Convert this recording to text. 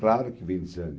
Claro que vem desânimo.